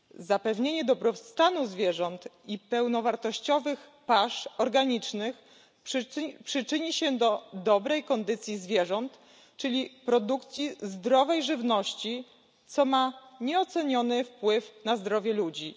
Zapewnienie dobrostanu zwierząt i pełnowartościowych pasz organicznych przyczyni się do dobrej kondycji zwierząt, czyli produkcji zdrowej żywności, co ma nieoceniony wpływ na zdrowie ludzi.